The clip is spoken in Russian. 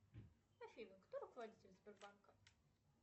афина кто руководитель сбербанка